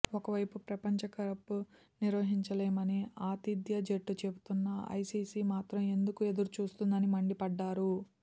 ఒకవైపు ప్రపంచ కప్ నిర్వహించలేమని ఆతిథ్య జట్టు చెబుతున్నా ఐసీసీ మాత్రం ఎందుకు ఎదురు చూస్తోందని మండిపడ్డారు